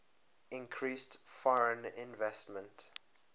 increased foreign investment